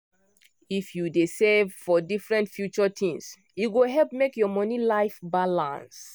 if you dey save for different future things e go help make your money life balance